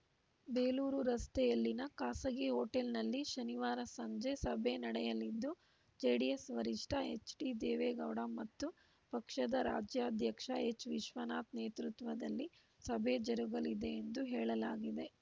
ಬೇಲೂರು ರಸ್ತೆಯಲ್ಲಿನ ಖಾಸಗಿ ಹೊಟೇಲ್‌ನಲ್ಲಿ ಶನಿವಾರ ಸಂಜೆ ಸಭೆ ನಡೆಯಲಿದ್ದು ಜೆಡಿಎಸ್‌ ವರಿಷ್ಠ ಎಚ್‌ಡಿದೇವೇಗೌಡ ಮತ್ತು ಪಕ್ಷದ ರಾಜ್ಯಾಧ್ಯಕ್ಷ ಎಚ್‌ವಿಶ್ವನಾಥ್‌ ನೇತೃತ್ವದಲ್ಲಿ ಸಭೆ ಜರುಗಲಿದೆ ಎಂದು ಹೇಳಲಾಗಿದೆ